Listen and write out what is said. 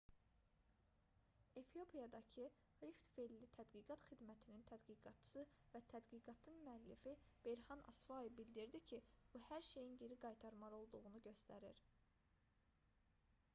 efiopiyadakı rift-velli tədqiqat xidmətinin tədqiqatçısı və tədqiqatın həmmüəllifi berhan asfau bildirdi ki bu hər şeyin geri qaytarılmalı olduğunu göstərir